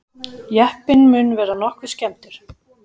Jeppinn mun vera nokkuð skemmdur